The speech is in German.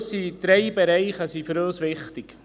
Für uns sind drei Bereiche wichtig.